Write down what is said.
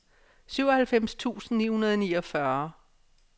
syvoghalvfems tusind ni hundrede og niogfyrre